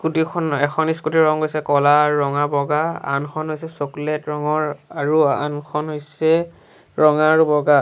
স্কুটিখন এখন স্কুটিৰ ৰং হৈছে ক'লা ৰঙা বগা আনখন হৈছে চ্চকলেট্ ৰঙৰ আৰু আনখন হৈছে ৰঙা আৰু বগা।